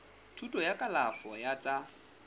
thuto ya kalafo ya tsa